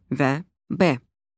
və B.